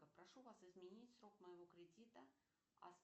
прошу вас изменить срок моего кредита